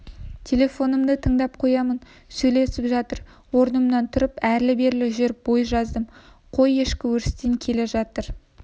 телефонымды тыңдап қоямын сөйлесіп жатыр орнымнан тұрып әрлі-берлі жүріп бой жаздым қой кешкі өрістен келе жатыр